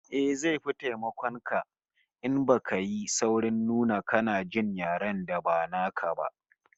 Eh, zai fi taimakon ka in baka yi saurin nuna kana jin yaren da ba naka ba